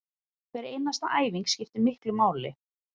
Hver einasta æfing skiptir miklu máli